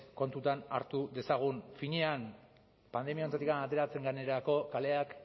kontuan hartu dezagun finean pandemia honetatik ateratzen garenerako kaleak